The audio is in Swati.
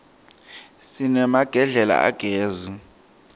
sinemagedlela agezi